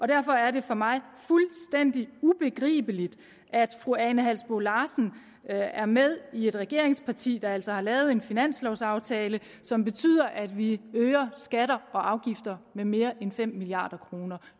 derfor er det for mig fuldstændig ubegribeligt at fru ane halsboe larsen er med i et regeringsparti der altså har lavet en finanslovaftale som betyder at vi øger skatter og afgifter med mere end fem milliard kroner